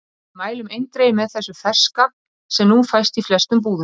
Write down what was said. Við mælum eindregið með þessu ferska sem nú fæst í flestum búðum.